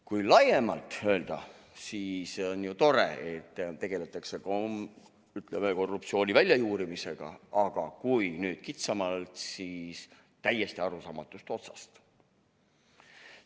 Kui laiemalt öelda, siis on ju tore, et tegeldakse korruptsiooni väljajuurimisega, aga kui kitsamalt vaadata, siis lähenetakse täiesti arusaamatust otsast.